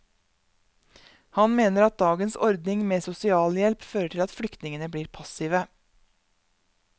Han mener at dagens ordning med sosialhjelp fører til at flyktningene blir passive.